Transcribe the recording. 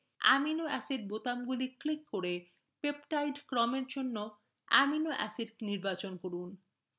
amino acids বোতামগুলি click করে peptide ক্রমের জন্য অ্যামিনো acids নির্বাচন করুন